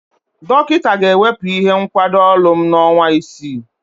Dọkịta ga-ewepụ ihe nkwado olu m n'ọnwa isii.